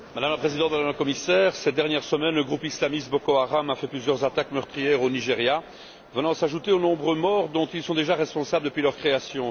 Madame la Présidente, Madame la Commissaire, cette semaine le groupe islamiste Boko Haram a lancé plusieurs attaques meurtrières au Nigéria venant s'ajouter aux nombreux morts dont ils sont déjà responsables depuis leur création.